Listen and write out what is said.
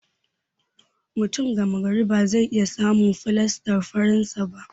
Mutum gama gari ba zai iya samun fulastar faransa ba.